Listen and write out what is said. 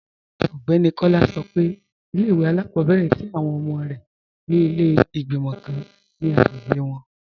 Ọgbẹni Kọla sọ́ pé ilẹ̀-ìwé alákọ̀bẹ̀rẹ̀ tí awọn ọmọ rẹ ni ilẹ̀ igbimọ̀ kàn ni agbègbè wọn.